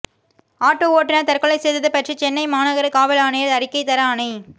auto ஓட்டுனர் தற்கொலை செய்தது பற்றி சென்னை மாநகர காவல் ஆணையர் அறிக்கை தர ஆணை